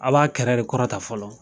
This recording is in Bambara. A b'a kɛrɛ de kɔrɔtan fɔlɔ